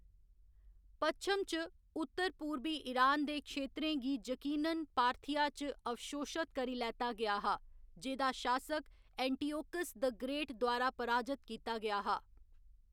पश्चिम च, उत्तर पूरबी ईरान दे क्षेत्रें गी यकीनन पार्थिया च अवशोशत करी लैता गेआ हा, जेह्‌दा शासक एंटिओकस द ग्रेट द्वारा पराजत कीता गेआ हा।